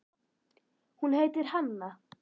Hún heitir Hanna.